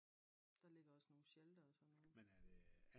Der ligger også nogle sheltere og sådan noget